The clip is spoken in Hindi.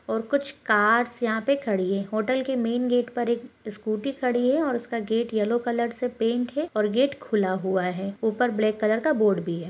और कुछ कार्स यहा पे खड़ी है। हॉटेल के मेन गेट पर एक इस्कूटी खड़ी है और उस्का गेट येल्लो कलर से पेंट है और गेट खुला हुआ है ऊपर ब्लॅक कलर का बोर्ड भी है।